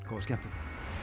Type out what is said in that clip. góða skemmtun